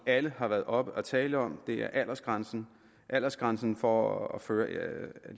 alle har været oppe at tale om aldersgrænsen aldersgrænsen for at føre en